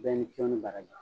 Bɛɛ ni ce aw ni baraji.